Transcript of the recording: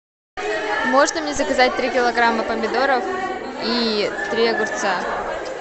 можно мне заказать три килограмма помидоров и три огурца